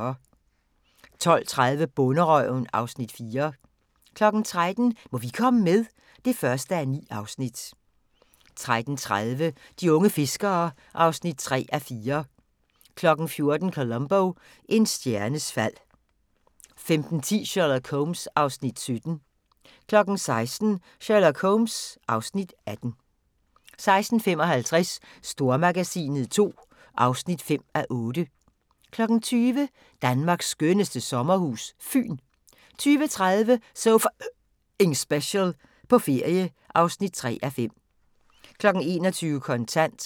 12:30: Bonderøven (Afs. 4) 13:00: Må vi komme med? (1:9) 13:30: De unge fiskere (3:4) 14:00: Columbo: En stjernes fald 15:10: Sherlock Holmes (Afs. 17) 16:00: Sherlock Holmes (Afs. 18) 16:55: Stormagasinet II (5:8) 20:00: Danmarks skønneste sommerhus – Fyn 20:30: So F***ing Special – på ferie (3:5) 21:00: Kontant